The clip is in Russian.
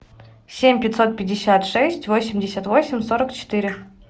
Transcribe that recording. семь пятьсот пятьдесят шесть восемьдесят восемь сорок четыре